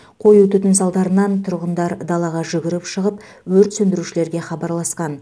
қою түтін салдарынан тұрғындар далаға жүгіріп шығып өрт сөндірушілерге хабарласқан